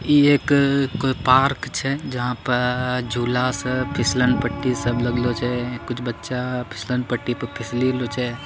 ये एक कोई पार्क छै जहा पर झूला स फिसलन पट्टी सब लगलो छे कुछ बच्चा फिसलन पट्टी पे फिस लेलो छे।